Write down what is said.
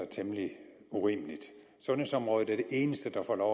temmelig urimeligt sundhedsområdet er det eneste der får lov